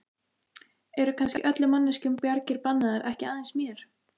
Eru kannski öllum manneskjum bjargir bannaðar, ekki aðeins mér?